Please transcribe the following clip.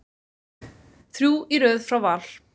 Þrjú í röð frá Val.